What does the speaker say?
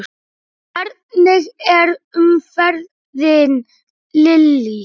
Hvernig er umferðin Lillý?